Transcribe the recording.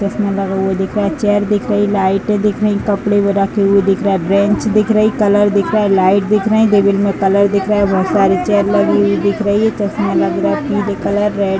चश्मा लगा हुआ दिख रहा है। चेयर दिख रही हैं। लाइटें दिख रही हैं। कपड़े रखे हुए दिख रहा है। बेन्च दिख रही है। कलर दिख रहा है। लाइट दिख रही है। में कलर दिख रहा है। बहोत सारी चेयर लगी हुई दिख रही है। चश्मा लग रहा है। पीले कलर रेड --